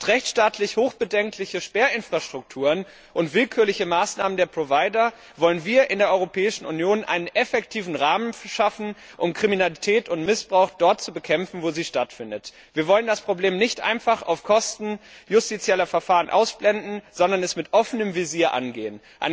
Anstelle rechtsstaatlich hoch bedenklicher Sperrinfrastrukturen und willkürlicher Maßnahmen der Provider wollen wir in der Europäischen Union einen effektiven Rahmen schaffen, um Kriminalität und Missbrauch dort zu bekämpfen, wo sie stattfinden. Wir wollen das Problem nicht einfach auf Kosten justizieller Verfahren ausblenden, sondern es mit offenem Visier angehen.